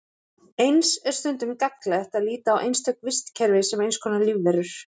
Eins er stundum gagnlegt að líta á einstök vistkerfi sem eins konar lífverur.